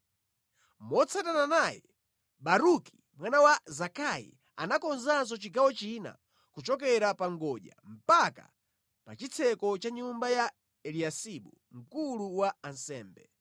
Motsatana naye, Baruki mwana wa Zakai anakonzanso chigawo china kuchokera pa ngodya mpaka pa chitseko cha nyumba ya Eliyasibu mkulu wa ansembe.